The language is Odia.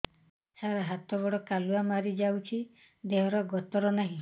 ସାର ହାତ ଗୋଡ଼ କାଲୁଆ ମାରି ଯାଉଛି ଦେହର ଗତର ନାହିଁ